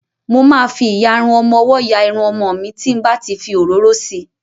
Mo ma fi ìyarun ọmọwọ́ ya Irun ọmọ mi tí n bá ti fi òróró si.